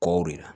Kɔw de la